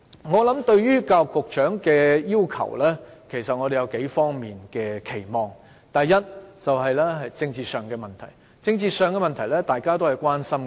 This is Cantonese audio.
我們對教育局局長有數方面的期望：第一，是政治上的問題，這是大家也關心的。